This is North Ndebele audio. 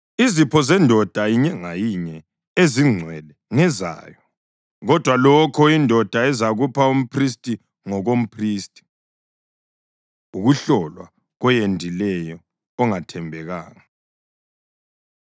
Izipho zendoda inye ngayinye ezingcwele ngezayo, kodwa lokho indoda ezakupha umphristi ngokomphristi.’ ” Ukuhlolwa Koyendileyo Ongathembekanga